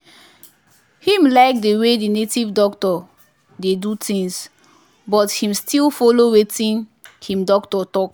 him like the way the native doctor dey do things but him still follow watin him doctor talk.